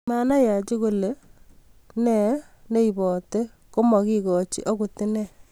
Manai Haji kole nee ibate kimokekoi okot inne.